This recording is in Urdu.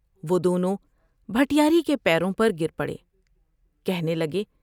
وہ دونوں بھٹیاری کے پیروں پر گر پڑے ، کہنے لگے ۔